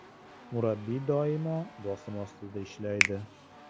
Murabbiy doimo bosim ostida ishlaydi.